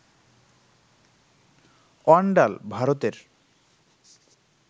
অন্ডাল, ভারতের